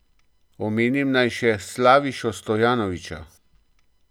Omenim naj še Slavišo Stojanovića.